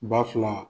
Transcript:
Ba fila